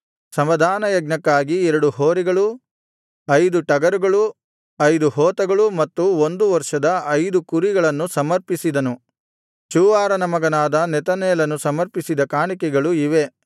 ಸಮಾಧಾನಯಜ್ಞಕ್ಕಾಗಿ ಎರಡು ಹೋರಿಗಳು ಐದು ಟಗರುಗಳು ಐದು ಹೋತಗಳು ಮತ್ತು ಒಂದು ವರ್ಷದ ಐದು ಕುರಿಗಳನ್ನು ಸಮರ್ಪಿಸಿದನು ಚೂವಾರನ ಮಗನಾದ ನೆತನೇಲನು ಸಮರ್ಪಿಸಿದ ಕಾಣಿಕೆಗಳು ಇವೇ